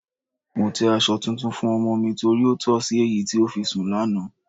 Mo tẹ́ aṣọ tuntun fún ọmọ mi torí ó tọ̀ sí èyí tí ó fi sùn lánàá.